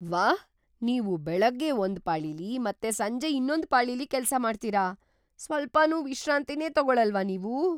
ವಾಹ್! ನೀವು ಬೆಳಗ್ಗೆ ಒಂದ್ ಪಾಳಿಲಿ ಮತ್ತೆ ಸಂಜೆ ಇನ್ನೊಂದ್ ಪಾಳಿಲಿ ಕೆಲ್ಸ ಮಾಡ್ತೀರ! ಸ್ವಲ್ಪನೂ ವಿಶ್ರಾಂತಿನೇ ತಗೊಳಲ್ವಾ ನೀವು?